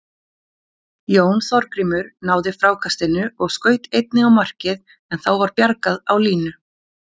Jón Þorgrímur náði frákastinu og skaut einnig á markið en þá var bjargað á línu.